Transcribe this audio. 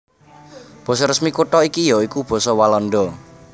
Basa resmi kutha iki ya iku basa Walanda